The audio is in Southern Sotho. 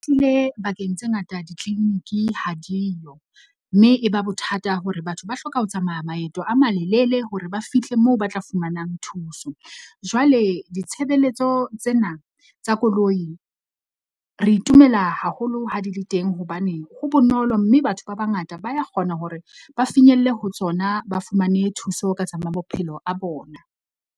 Bakeng tse ngata di-clinic-i ha diyo mme e ba bothata hore batho ba hloka ho tsamaya maeto a malelele hore ba fihle moo ba tla fumanang thuso. Jwale ditshebeletso tsena tsa koloi re itumela haholo ha di le teng. Hobane ho bonolo, mme batho ba bangata ba ya kgona hore ba finyelle ho tsona, ba fumane thuso ka tsa bophelo a bona.